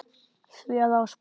því að Ásbrú